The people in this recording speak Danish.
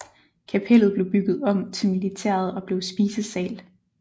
Kapellet blev bygget om til militæret og blev spisesal